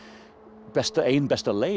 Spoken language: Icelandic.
ein besta ein besta leið